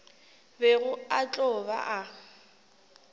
bego a tlo ba a